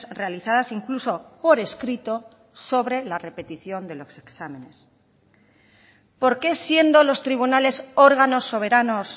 realizadas incluso por escrito sobre la repetición de los exámenes por qué siendo los tribunales órganos soberanos